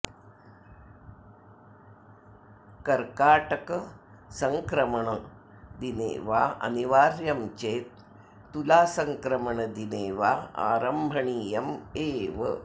कर्काटकसङ्क्रमणदिने वा अनिवार्यं चेत् तुलासङ्क्रमणदिने वा आरम्भणीयम् एव